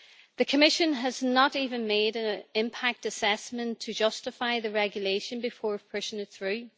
The Commission has not even made an impact assessment to justify the regulation before pushing it through.